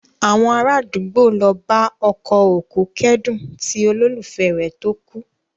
Àwọn ará àdúgbò ló bá ọkọ òkú kẹ́dùn ti olólùfẹ́ rẹ̀ tó kú